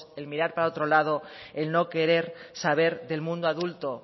el mirar para otro lado el no querer saber del mundo adulto